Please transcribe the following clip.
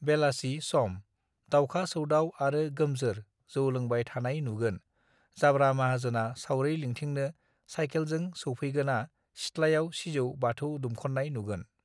बेलासि सम दावखा सौदाव आरो गोमजोर जौ लोंबाय थानाय नुगोन जाब्रा माहाजोना सावरि लिंथिनो सायखेलजों सौफैगोना सिथ्लायाव सिजौ बाथौ दुमखन्नाय नुगोन